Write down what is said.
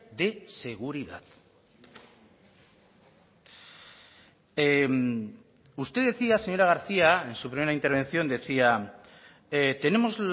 de seguridad usted decía señora garcía en su primera intervención decía tenemos